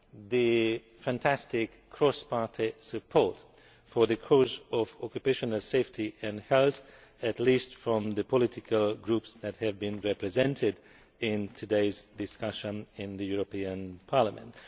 the fantastic cross party support for the cause of occupational safety and health, at least from the political groups that have been represented in today's discussion in Parliament.